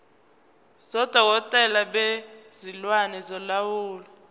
sodokotela bezilwane solawulo